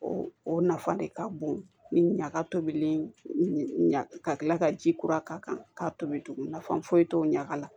O o nafa de ka bon ni ɲaga tobilen ɲa ka kila ka ji kura k'a kan k'a tobi tugun nafa foyi t'o ɲaga la